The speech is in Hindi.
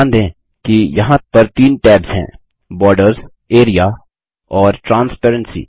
ध्यान देंकि यहाँ पर तीन टैब्स हैं बॉर्डर्स एआरईए और ट्रांसपेरेंसी